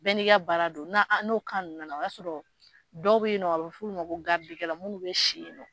Bɛɛ ni ka baara don, n'o nunnu nana o y'a sɔrɔ, dɔw be yen nɔ, a bi f'olu ma ko munnu bɛ si yen nɔ